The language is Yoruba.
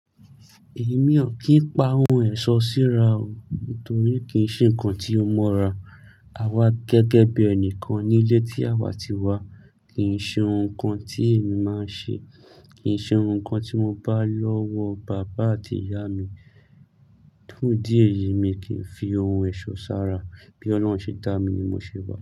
Èmi ò kí ń pa ohun ẹ̀ṣọ́ síra o, nítorí kì í ṣe nǹkan tí o mọra. A wá gẹ́gẹ́ bí ẹni kan nílé tí àwa ti wá. Kì í ṣe ohun kan tí èmi máa nṣe, kì í ṣe ohun kan tí mo bá lọ́wọ́ bàbá àti ìyá mi. Fun ìdí eyì, mi kì í fi ohun ẹ̀ṣọ́ ṣára. Bí Ọlọ́run ṣe dá mi ni mo ṣe wà.